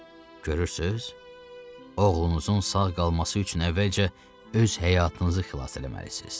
Görürsüz, oğlunuzun sağ qalması üçün əvvəlcə öz həyatınızı xilas eləməlisiz.